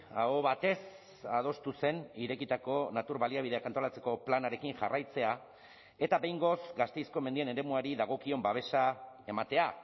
aho batez adostu zen irekitako natur baliabideak antolatzeko planarekin jarraitzea eta behingoz gasteizko mendien eremuari dagokion babesa ematea